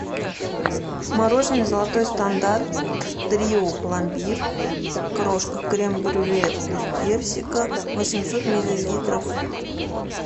мороженое золотой стандарт трио пломбир крошка крем брюле вкус персика восемьсот миллилитров